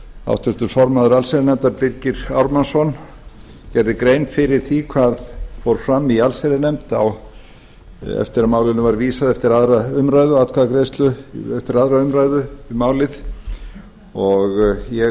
háttvirtur formaður allsherjarnefndar birgir ármannsson gerði grein fyrir því hvað fór fram í allsherjarnefnd eftir að málinu var vísað eftir atkvæðagreiðslu eftir aðra umræðu um málið ég